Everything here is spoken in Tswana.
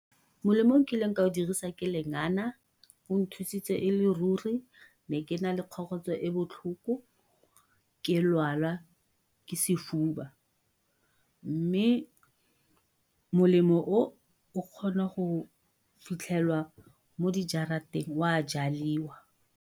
Molemo o nkileng ka o dirisa ke lengana, o nthusitse e le ruri, ne ke na le kgokgotso e e botlhoko ke lwala ke sefuba, mme molemo o o kgona go fitlhelwa mo o a jadiwa.